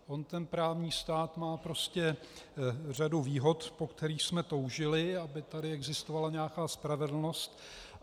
On ten právní stát má prostě řadu výhod, po kterých jsme toužili, aby tady existovala nějaká spravedlnost.